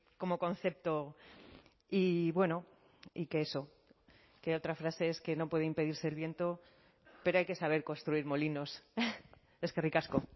como concepto y bueno y que eso que otra frase es que no puede impedirse el viento pero hay que saber construir molinos eskerrik asko